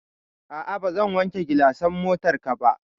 A'a, bazan wanke gilasan motarka ba.